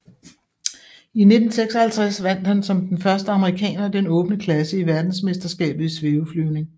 I 1956 vandt han som den første amerikaner den åbne klasse i verdensmesterskabet i svæveflyvning